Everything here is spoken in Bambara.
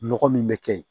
Nɔgɔ min bɛ kɛ yen